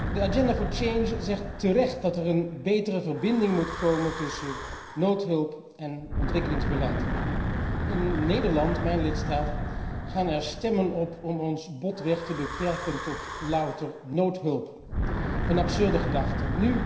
De agenda voor change zegt terecht dat er een betere verbinding moet komen tussen noodhulp en ontwikkelingsbeleid. In Nederland, mijn lidstaat, gaan er stemmen op om ons botweg te beperken tot louter noodhulp, een absurde gedachte.